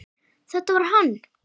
Þetta var hann!